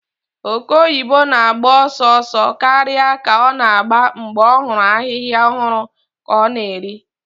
Oke oyibo na-agba ọsọ ọsọ karịa ka ọ na-agba mgbe ọ hụrụ ahịhịa ọhụrụ ka ọ na-eri.